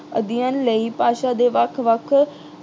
ਅਧਿਐਨ ਲਈ ਭਾਸ਼ਾ ਦੇ ਵੱਖ-ਵੱਖ